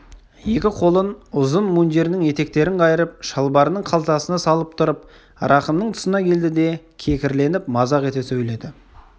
екі қолын ұзын мундирінің етектерін қайырып шалбарының қалтасына салып тұрып рахымның тұсына келді де кекірленіп мазақ ете сөйледі